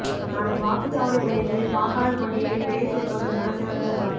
நாளை வாக்குச் சாவடி மையங்களில் வாக்காளர் பட்டியலில் பெயர் சேர்ப்பதற்கான சிறப்பு முகாம்